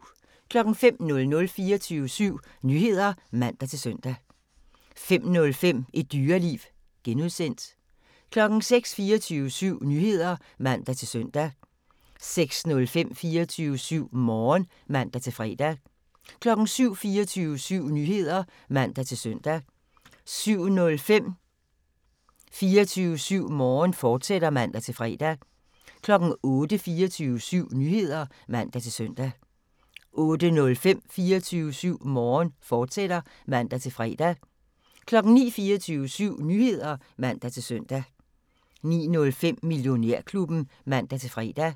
05:00: 24syv Nyheder (man-søn) 05:05: Et Dyreliv (G) 06:00: 24syv Nyheder (man-søn) 06:05: 24syv Morgen (man-fre) 07:00: 24syv Nyheder (man-søn) 07:05: 24syv Morgen, fortsat (man-fre) 08:00: 24syv Nyheder (man-søn) 08:05: 24syv Morgen, fortsat (man-fre) 09:00: 24syv Nyheder (man-søn) 09:05: Millionærklubben (man-fre)